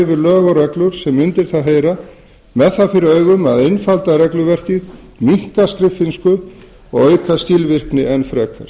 yfir lög og reglur sem undir það heyra með það fyrir augum að einfalda regluverkið minnka skriffinnsku og auka skilvirkni enn frekar